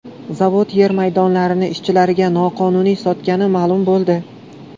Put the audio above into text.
Zavod yer maydonlarini ishchilariga noqonuniy sotgani ma’lum bo‘ldi.